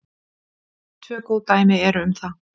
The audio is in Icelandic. Tvö góð dæmi eru um það.